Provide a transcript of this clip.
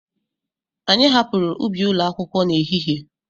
Anyị hapụrụ ubi ụlọ akwụkwọ na ehihie.